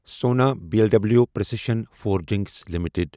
سونا B L W precision forgings limited